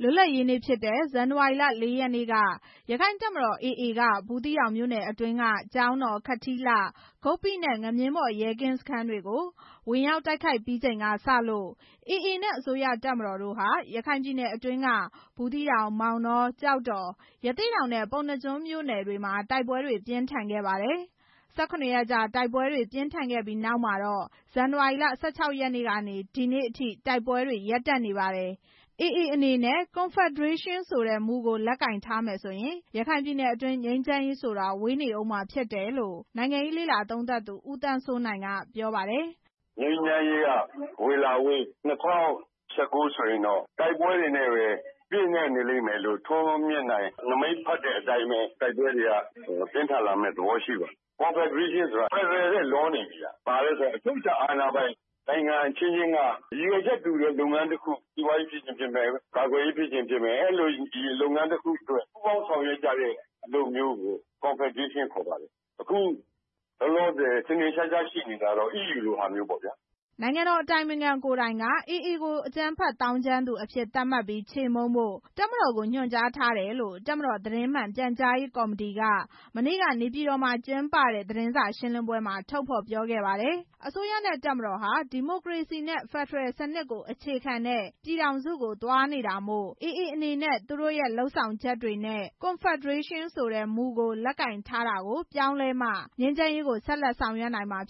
လွတ်လပ်ရေးနေ့ဖြစ်တဲ့ ဇန်နဝါရီလ ၄ ရက်နေ့က ရက္ခိုင့်တပ်မတော် AA က ဘူးသီးတောင်မြို့နယ် အတွင်းက ကျောင်းတောင်၊ ခထီးလှ၊ ဂုပ္ပိနဲ့ ငမြင်းဘော် ရဲကင်းစခန်းတွေကို ဝင်ရောက်တိုက်ခိုက် ပြီးချိန်ကစလို့ AA နဲ့ အစိုးရတပ်မတော်တို့ဟာ ရခိုင်ပြည်နယ်အတွင်းက ဘူးသီးတောင်၊ မောင်တော၊ ကျောက်တော်၊ ရသေ့တောင်နဲ့ ပုဏ္ဏားကျွန်းမြို့နယ်တွေမှာ တိုက်ပွဲတွေ ပြင်းထန်ခဲ့ပါတယ်။ ၁၇ ရက်ကြာ တိုက်ပွဲတွေ ပြင်းထန်ခဲ့ပြီးနောက်မှာတော့ ဇန်နဝါရီလ ၁၆ ရက်နေ့ကနေ ဒီနေ့အထိ တိုက်ပွဲတွေ ရပ်နေ့ပါတယ်။ AA အနေနဲ့ Confederation ဆိုတဲ့မူကို လက်ကိုင်ထားမယ်ဆိုရင် ရခိုင်ပြည်နယ်အတွင်း ငြိမ်းချမ်း ရေးဆိုတာ ဝေးနေဦးမှာ ဖြစ်တယ်လို့ နိုင်ငံရေးလေ့လာသုံးသပ်သူ ဦးသန်းစိုးနိုင် ကပြောပါတယ်။ "ငြိမ်းချမ်းရေးက ဝေးလာဝေး ၂၀၁၉ ဆိုရင်တော့ တိုက်ပွဲတွေနဲ့ ပြည့်နှက်နေလိမ့်မယ်လို့ ထွန်းမြတ်နိုင် နမိတ်ဖက်တဲ့ အတိုင်းပဲ တိုက်ပွဲတွေပြင်းထန်လာမယ့် သဘောရှိပါတယ်။ ကွန်ဖက်ဒရေးရှင်းဆိုတာ ဖက်ဒရယ်ထက် လွန်နေပြီ။ အချုပ်အခြာအာဏာပိုင် နိုင်ငံအချင်းချင်းက ရည်ရွယ်ချက်တူတဲ့ လုပ်ငန်းတစ်ခုခု စီးပွားရေး ဖြစ်ချင်ဖြစ်မယ်၊ ကာကွယ်ရေးဖြစ်ချင်ဖြစ်မယ် အဲလိုအလုပ်အတွက် ပူးပေါင်းဆောင်ရွက်ကြတဲ့ဟာမျိုး၊ အခုလောလောဆယ် ထင်ထင်ရှားရှားရှိနေတာ အီးယူလိုမျိုးပေါ့" နိုင်ငံတော် အတိုင်ပင်ခံ ကိုယ်တိုင် က AA ကို အကြမ်းဖက်သောင်းကျန်းသူအဖြစ် သတ်မှတ်ပြီး ချေမှုန်းဖို့ တပ်မတော်ကို ညွှန်ကြားထားတယ်လို့ တပ်မတော် သတင်းမှန်ပြန်ကြားရေး ကော်မတီက မနေ့က နေပြည်တော်မှာ ကျင်းပတဲ့ သတင်းစာရှင်းလင်းပွဲမှာ ထုတ်ဖော်ပြောခဲ့ပါတယ်။ အစိုးရနဲ့ တပ်မတော်က ဒီမိုကရေစီနဲ့ ဖက်ဒရယ်စနစ်ကို အခြေခံတဲ့ ပြည်ထောင်စုကို သွားနေတာမို့ AA အနေနဲ့ သူတို့ရဲ့ လုပ်ဆောင်ချက်တွေနဲ့ Confederation ဆိုတဲ့မူကို လက်ကိုင်ထားရှိမှုကို ပြောင်း လဲမှ ငြိမ်းချမ်းရေးကို ဆက်လက်ဆောင်ရွက်နိုင်မယ်